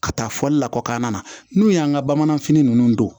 Ka taa fɔli lakɔkana n'u y'an ka bamananfini ninnu don